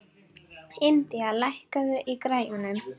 Indía, lækkaðu í græjunum.